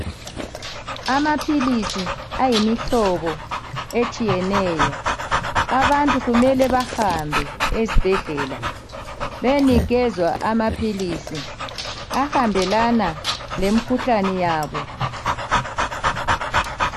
Amaphilisi ayimihlobo etshiyeneyo Abantu kumele bahambe esbhedlela beyenikezwa amaphilisi ahambelana le mkhuhlane yabo.